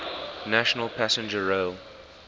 national passenger rail